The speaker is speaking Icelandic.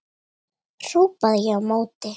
hrópaði ég á móti.